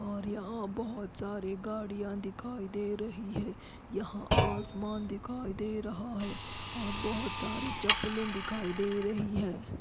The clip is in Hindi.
और यहाँ बोहोत सारी गाड़िया दिखाई दे रही है यहाँ आसमान दिखाई दे रहा है और बहुतसारे चप्पलें दिखाई दे रही है।